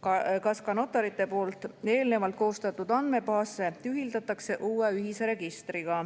kohta ning notarite poolt eelnevalt koostatud andmebaasid ühildatakse uue ühise registriga.